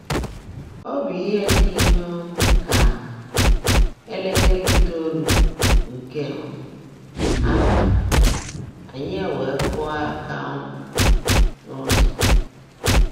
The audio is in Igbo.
Ọ́ bụ́ íhe ḍị́ um kà élékèré ítòólú nkè um ábálị́, ányị́ weèé kụ́ọ́ áká um n’ụ́zọ́.